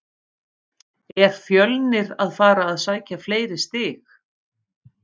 Er Fjölnir að fara að sækja fleiri stig?